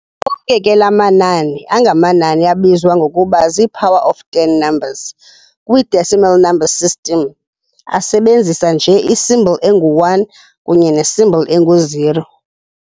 Onke ke la mamnani angamanani abizwa ngokuba zii-"power of ten numbers" kwi-decimal number system asebenzisa nje i-symbol engu-"1" kunye ne-symbol engu-"0".